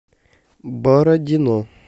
бородино